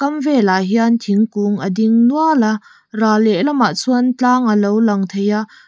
velah hian thingkung a ding nual a ral lehlamah chuan tlang a lo lang thei a.